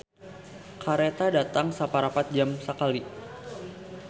"Kareta datang saparapat jam sakali"